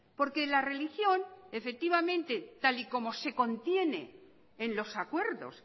porque la religión efectivamente tal y como se contiene en los acuerdos